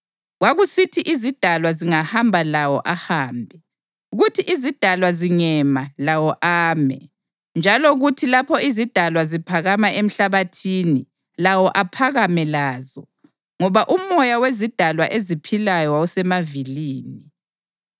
Kwakusithi izidalwa zingahamba lawo ahambe, kuthi izidalwa zingema lawo ame; njalo kuthi lapho izidalwa ziphakama emhlabathini lawo aphakame lazo, ngoba umoya wezidalwa eziphilayo wawusemavilini.